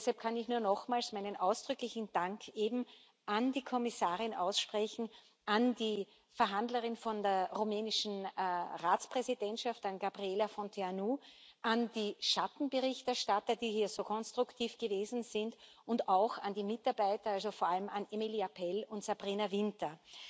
Und deshalb kann ich nur nochmals meinen ausdrücklichen Dank an die Kommissarin aussprechen, an die Verhandlerin von der rumänischen Ratspräsidentschaft, an Gabriela Fierbinteanu, an die Schattenberichterstatter, die hier so konstruktiv gewesen sind, und auch an die Mitarbeiter, vor allem an Emilie Apell und Sabrina Winter.